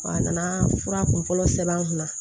A nana fura kunfɔlɔ sɛbɛn an kunna